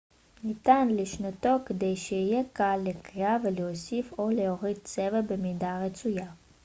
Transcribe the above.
ניתן לשנותו כדי שיהיה קל לקריאה ולהוסיף או להוריד צבע במידה הרצויה